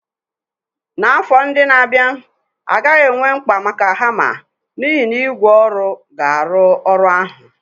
N'afọ ndị na-abịa, a gaghị enwe mkpa maka hama n'ihi na ígwè ọrụ ga-arụ ọrụ ahụ.